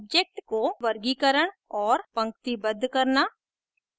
objects को वर्गीकरण और पंक्तिबद्ध करना